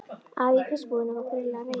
Afi í fiskbúðinni var greinilega reiður.